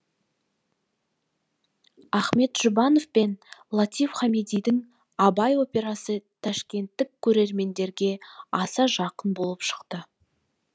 ахмет жұбанов пен латиф хамидидің абай операсы ташкенттік көрерменге аса жақын болып шықты